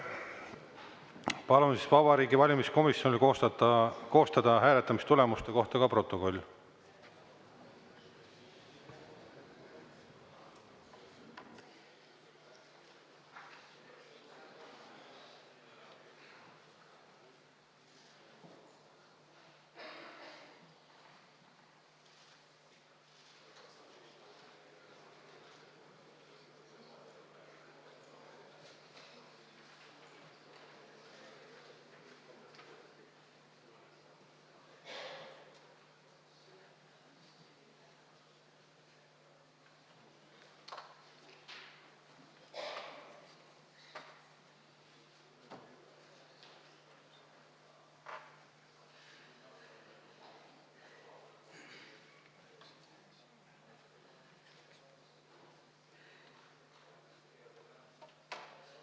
Palun Vabariigi Valimiskomisjonil koostada hääletamistulemuste kohta protokoll.